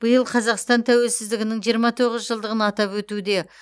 биыл қазақстан тәуелсіздігінің жиырма тоғыз жылдығын атап өтуде